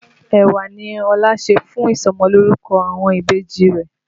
Ẹ̀wà ní Ọlá ṣè fún ìsọmọlórúkọ àwọn ìbejì rẹ̀